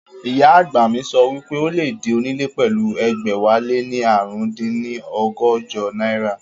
Ìyá àgbà mi sọ wípé o lè di onílé pẹ̀lú ẹgbẹ̀wáléní ààrùndínní ọgọ́jọ náírà